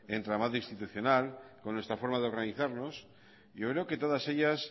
entramado institucional con nuestra forma de organizarnos yo creo que todas ellas